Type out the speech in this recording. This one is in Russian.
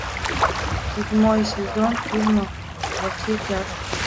седьмой сезон фильма во все тяжкие